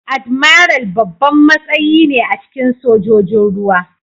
Admiral babban matsayi ne a cikin Sojojin ruwa.